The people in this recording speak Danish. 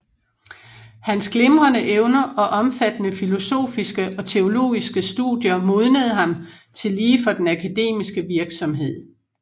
Hans glimrende evner og omfattende filosofiske og teologiske studier modnede ham tillige for den akademiske virksomhed